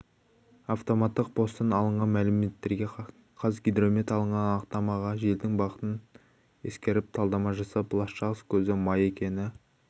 автоматтық посттан алынған мәліметтерге қазгидромет алынған анықтамаға желдің бағытын ескеріп талдама жасап ластағыш көзі май екені